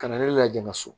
Ka na ne laja